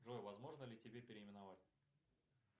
джой возможно ли тебя переименовать